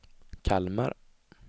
Kalmar